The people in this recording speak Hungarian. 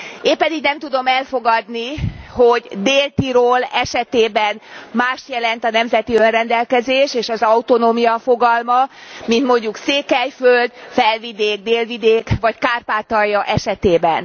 Éppen így nem tudom elfogadni, hogy Dél Tirol esetében mást jelent a nemzeti önrendelkezés és az autonómia fogalma, mint mondjuk Székelyföld, Felvidék, Délvidék vagy Kárpátalja esetében.